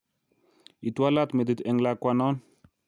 Itwalat metit eng lakwanon